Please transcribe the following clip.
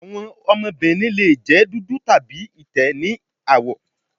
Awọn ọmọbirin le jẹ dudu tabi itẹ ni awọ